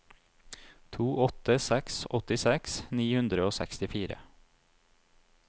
to åtte seks seks åttiseks ni hundre og sekstifire